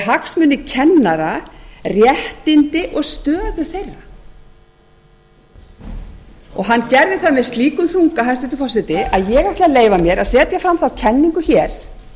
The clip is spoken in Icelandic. hagsmuni kennara réttindi og stöðu þeirra hann gerði það með slíkum þunga hæstvirtur forseti að ég ætla að leyfa mér að setja fram þá kenningu hér